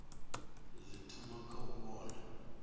zwi thoma kha u vhona